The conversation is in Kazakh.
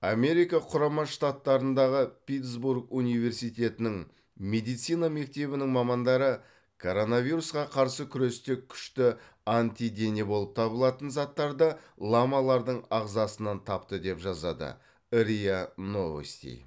америка құрама штаттарындағы питтсбург университетінің медицина мектебінің мамандары коронавирусқа қарсы күресте күшті антидене болып табылатын заттарды ламалардың ағазсынан тапты деп жазады риа новости